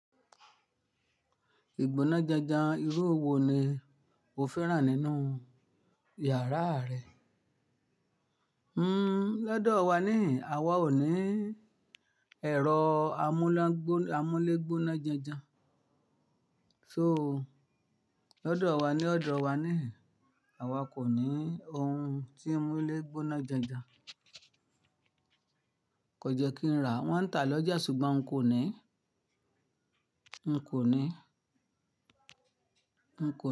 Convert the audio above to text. Ìgbóná janjan irú wo ni o fẹ́ràn nínú yàrá rẹ? Hmm, lọ́dọ̀ wa níhin, àwa ò ní ẹ̀rọ amúlégbóná janjan. So, lọ́dọ̀ wa ní ọ̀dọ̀ wa nihin, àwa kò ní ohun tí ń múlé gbóná janjan. Kò jẹ́ kí n rà, wọ́n ń tà lọ́jà ṣùgbọ́n n kò ní. N kò ní. N kò ní.